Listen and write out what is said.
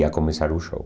Ia começar o show.